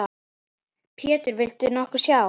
Pétur: Já, viltu nokkuð sjá?